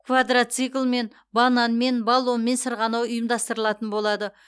квадроциклмен бананмен баллонмен сырғанау ұйымдастыралатын болады